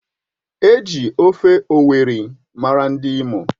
Eji ofe owerri mara ndi Imo.